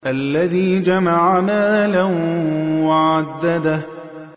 الَّذِي جَمَعَ مَالًا وَعَدَّدَهُ